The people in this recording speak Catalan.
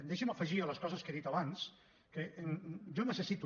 deixi’m afegir a les coses que he dit abans que jo necessito